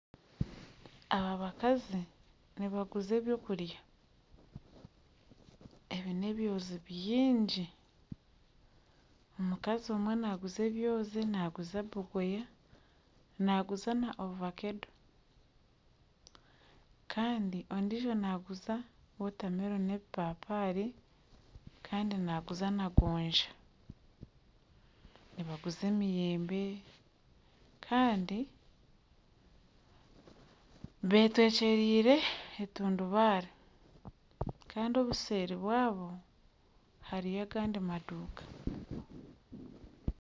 Aba bakazi nibaguza eby'okurya ebi n'ebyozi byingi, omukazi naaguza ebyozi naaguza na bogoya na ovakeedo kandi ondiijo naaguza wotameloni n'ebipapaari kandi naaguza na gonja nibaguza emiyembe kandi beetwekyeriire entundubare kandi obuseeri bwabo hariyo agandi maduuka